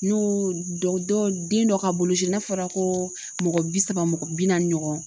N'o dɔw den dɔ ka boloci n'a fɔra ko mɔgɔ bi saba mɔgɔ bi naani ɲɔgɔn